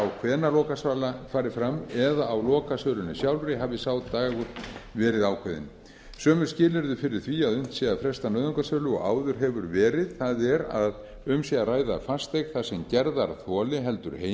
á hvenær lokasala fari fram eða á lokasölunni sjálfri hafi sá dagur verið ákveðinn sömu skilyrði fyrir því að unnt sé að fresta nauðungarsölu og áður hefur verið það er að um sé að ræða fasteign þar sem gerðarþoli heldur